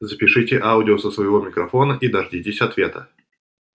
запишите аудио со своего микрофона и дождитесь ответа